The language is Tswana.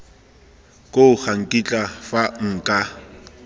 koo ga nkitla fa nka